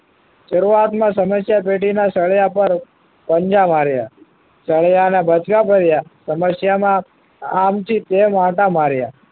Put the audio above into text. શરૂઆતમાં સમસ્યા પેટીના સળિયા પર પંજા માર્યા સળિયા ને બચકા ભર્યા સમસ્યામાં આમથી તેમ આંટા માર્યા